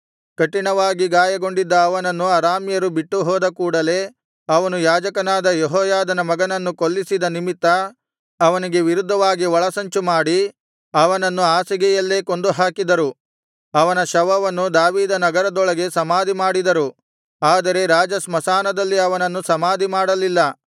ಕಠಿಣವಾಗಿ ಗಾಯಗೊಂಡಿದ್ದ ಅವನನ್ನು ಅರಾಮ್ಯರು ಬಿಟ್ಟು ಹೋದ ಕೂಡಲೆ ಅವನ ಸೇವಕರು ಅವನು ಯಾಜಕನಾದ ಯೆಹೋಯಾದನ ಮಗನನ್ನು ಕೊಲ್ಲಿಸಿದ ನಿಮಿತ್ತ ಅವನಿಗೆ ವಿರುದ್ಧವಾಗಿ ಒಳಸಂಚುಮಾಡಿ ಅವನನ್ನು ಹಾಸಿಗೆಯಲ್ಲೇ ಕೊಂದುಹಾಕಿದರು ಅವನ ಶವವನ್ನು ದಾವೀದನಗರದೊಳಗೆ ಸಮಾಧಿಮಾಡಿದರು ಆದರೆ ರಾಜಸ್ಮಶಾನದಲ್ಲಿ ಅವನನ್ನು ಸಮಾಧಿ ಮಾಡಲಿಲ್ಲ